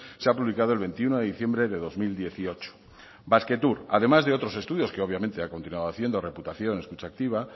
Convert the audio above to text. se ha publicado el veintiuno de diciembre de dos mil dieciocho basquetour además de otros estudios que obviamente ha continuado haciendo reputación escucha activa